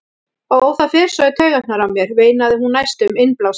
Ó, það fer svo í taugarnar á mér, veinaði hún næstum innblásin.